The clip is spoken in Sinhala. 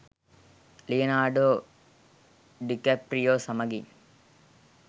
ලියනාඩෝ ඩිකැප්‍රියෝ සමගින්